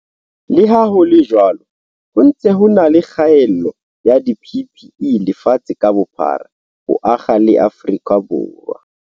Leha ho le jwalo, ho ntse ho e na le kgaello ya di-PPE lefatshe ka bophara, ho akga le Afrika Borwa.